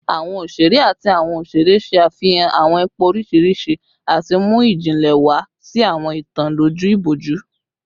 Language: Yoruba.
Awọn oṣere ati awọn oṣere ṣe afihan awọn ipa oriṣiriṣi ati mu ijinle wa si awọn itan loju iboju